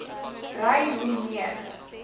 ry hoe meer